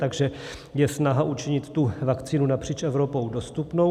Takže je snaha učinit tu vakcínu napříč Evropou dostupnou.